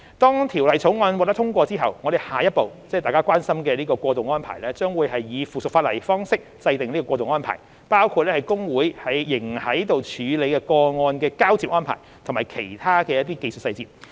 當《條例草案》獲得通過後，我們下一步，即大家關心的過渡安排，將會以附屬法例方式制訂，包括會計師公會仍在處理的個案的交接安排和其他技術細節。